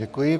Děkuji.